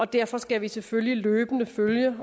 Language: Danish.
derfor skal vi selvfølgelig løbende følge